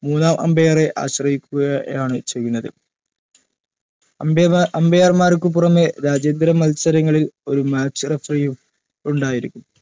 മൂന്നാം umpire ആശ്രയിക്കുകയാണ് ചെയ്യുന്നത് അന്തേവാ umpire ക്ക് പുറമെ രാജ്യാന്തര മത്സരങ്ങളിൽ ഒരു match referee ഉം ഉണ്ടായിരിക്കും